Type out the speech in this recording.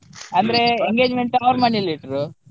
ಅಂದ್ರೆ engagement ಅವ್ರು ಮನೇಲಿ ಇಟ್ರು.